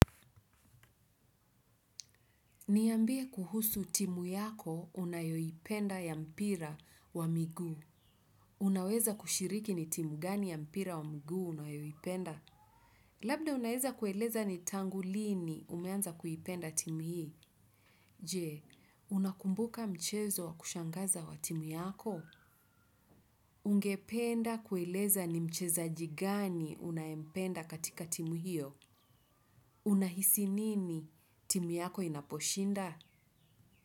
Niambie kuhusu timu yako unayo ipenda ya mpira wa miguu. Unaweza kushiriki ni timu gani ya mpira wa miguu unayoiipenda? Labda unaeza kueleza ni tangu lini umeanza kuipenda timu hii. Jee, unakumbuka mchezo wa kushangaza wa timu yako? Ungependa kueleza ni mchezaji gani unaempenda katika timu hiyo? Unahisi nini timu yako inaposhinda?